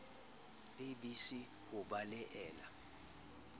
a b c ho belaela